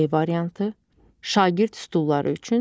D variantı: şagird stulları üçün,